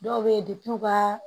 Dɔw bɛ yen u ka